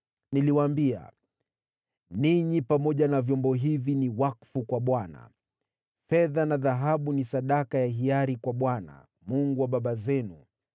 Niliwaambia, “Ninyi pamoja na vyombo hivi ni wakfu kwa Bwana . Fedha na dhahabu ni sadaka ya hiari kwa Bwana , Mungu wa baba zenu.